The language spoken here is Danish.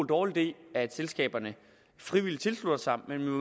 dårlig idé at selskaberne frivilligt tilslutter sig men